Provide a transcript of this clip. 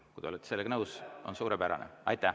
Kui te olete sellega nõus, on suurepärane.